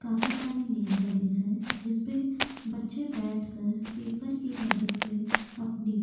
काफी सारी मेज लगी हैं जिसमे बच्चे बैठकर पेपर की मदद से अपनी--